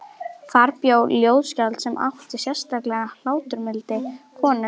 Þar bjó þá ljóðskáld sem átti sérlega hláturmilda konu.